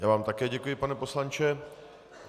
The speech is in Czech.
Já vám také děkuji, pane poslanče.